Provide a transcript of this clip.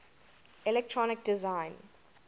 electronic design